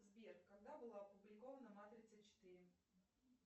сбер когда была опубликована матрица четыре